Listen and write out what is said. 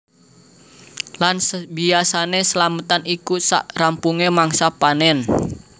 Lan biasané slametan iku sak rampungé mangsa panen